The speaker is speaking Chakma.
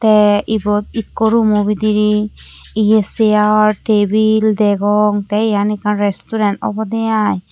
tey ebot ikko rumo bidirey iye sear tebil degong tey eyan ekkan resturen awbwde aai.